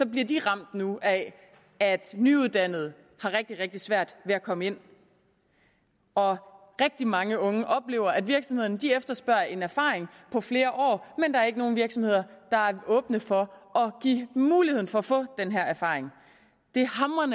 bliver de ramt nu af at nyuddannede har rigtig rigtig svært ved at komme ind og rigtig mange unge oplever at virksomhederne efterspørger en erfaring på flere år men der er ikke nogen virksomheder der er åbne for at give muligheden for at få den her erfaring det